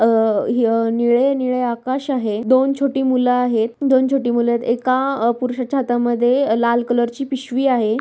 अ हे निळे निळे आकाश आहे दोन छोटी मूल आहेत दोन छोटी मूल आहेत एका पुरुषाच्या हातामध्ये लाल कलरची पिशवी आहे.